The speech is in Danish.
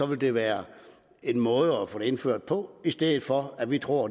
ville være en måde at få det indført på i stedet for at vi tror